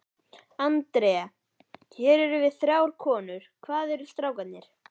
Andrea, hér erum við þrjár konur, hvað eru strákarnir?